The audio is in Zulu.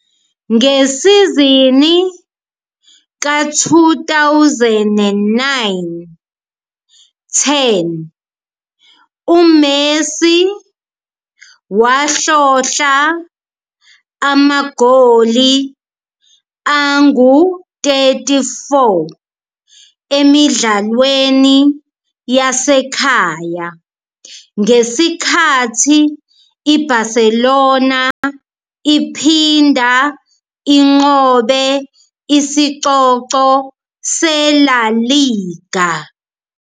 Ngesizini ka-2009-10, uMessi wahlohla amagoli angu-34 emidlalweni yasekhaya ngesikhathi iBarcelona iphinda inqobe isicoco seLa Liga.